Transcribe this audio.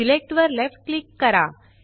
select वर left click करा